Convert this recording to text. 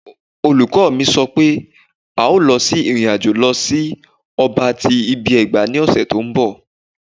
Olukọni mi sọ pe a o lọ si irin-ajo lọ si ọba ti ibi-ẹgba ni ọsẹ ti nbọ